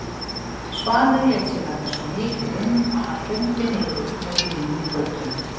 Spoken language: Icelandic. Svanur lét sér verða svo mikið um að hann hrundi niður með bílnum í götuna.